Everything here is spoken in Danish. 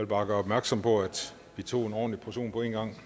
bare gøre opmærksom på at vi tog en ordentlig portion på én gang